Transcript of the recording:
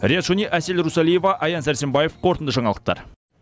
риат шони әсел русалиева аян сәрсенбаев қорытынды жаңалықтар